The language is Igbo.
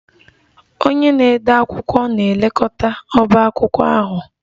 Onye na-ede akwụkwọ na-elekọta ọbá akwụkwọ ahụ